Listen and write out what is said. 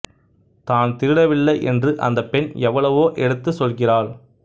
தான் திருடவில்லை என்று அந்தப் பெண் எவ்வளவோ எடுத்துச் சொல்கிறாள்